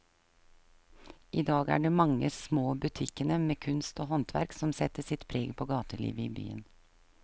I dag er det de mange små butikkene med kunst og håndverk som setter sitt preg på gatelivet i byen.